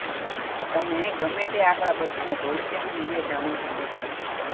તમે ગમે તે આંકડા બદલીને ભવિષ્યનું મૂલ્ય જાણી શકો છો